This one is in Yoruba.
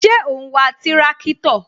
Ṣé o n wa tirakitọ?